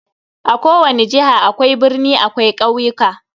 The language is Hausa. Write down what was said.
A kowani jiha akwai birni akwai ƙauyuka.